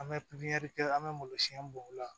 An bɛ pipiniyɛri kɛ an bɛ malosi bɔ o la